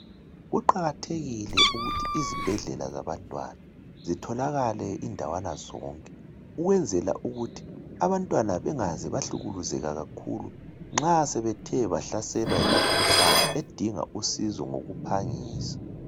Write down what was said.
Kuqakathekile ukuthi izibhedlela zabantwana zitholakale indawana zonke ukwenzela ukuthi abantwana bengaze bahlukuluzeka kakhulu nxa sebethe bahlaselwa yimikhuhlane edinga usizo ngokuphangisa.